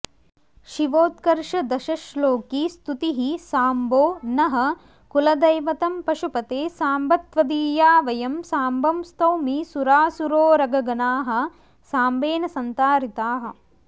शिवोत्कर्षदशश्लोकीस्तुतिः साम्बो नः कुलदैवतं पशुपते साम्ब त्वदीया वयं साम्बं स्तौमि सुरासुरोरगगणाः साम्बेन संतारिताः